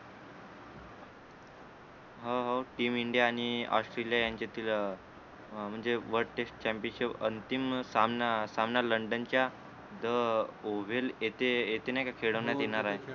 हो हो team India आणि ऑस्ट्रेलिया यांच्यातील अं अं म्हणजे world test championship अंतिम सामना सामना लंडनच्या the ओव्हल येथे येथे नाहीका खेळवण्यात येणार आहे